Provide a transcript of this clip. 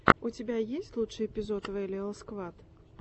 у тебя есть лучший эпизод вэлиал сквад